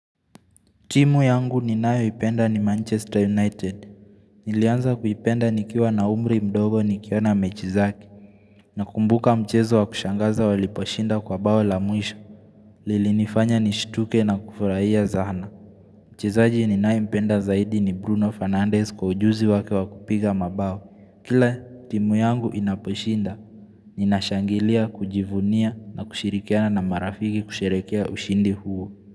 Timu yangu ni nayo ipenda ni Manchester United. Nilianza kuipenda nikiwa na umri mdogo nikiona mechizaki. Na kumbuka mchezo wa kushangaza waliposhinda kwa bao la mwisho. Lili nifanya ni shituke na kufurahia zahana. Mchezaji ni nayo ipenda zaidi ni Bruno Fernandez kwa ujuzi wake wakupiga mabao. Kile, timu yangu inaposhinda. Ninashangilia, kujivunia, na kushirikiana na marafiki kusherekea ushindi huo.